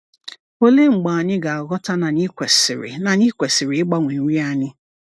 Olee mgbe anyị ga-aghọta na anyị kwesịrị na anyị kwesịrị ịgbanwe nri anyị?